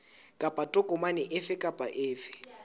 kapa tokomane efe kapa efe